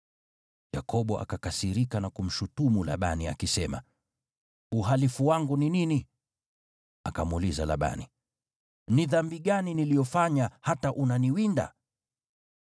Yakobo akakasirika na kumshutumu Labani, akisema, “Uhalifu wangu ni nini?” Akamuuliza Labani, “Ni dhambi gani niliyofanya hata unaniwinda?